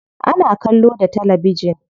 Ana kallo da talabijin.